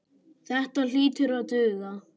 Þetta hlýtur að duga.